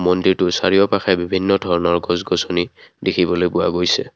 মন্দিৰটোৰ চাৰিওকাষে বিভিন্ন ধৰণৰ গছ গছনি দেখিবলৈ পোৱা গৈছে।